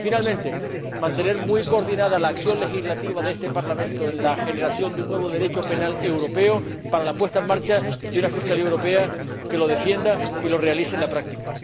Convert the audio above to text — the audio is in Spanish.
Y, por último, se ha de mantener muy coordinada la acción legislativa de este Parlamento en la generación de un nuevo Derecho penal europeo para la puesta en marcha de una Fiscalía Europea que lo defienda y lo realice en la práctica.